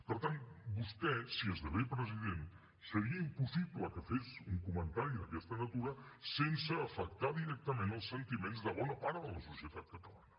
per tant vostè si esdevé president seria impossible que fes un comentari d’aquesta natura sense afectar directament els sentiments de bona part de la societat catalana